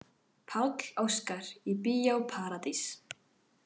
Páll Óskar í Bíó Paradís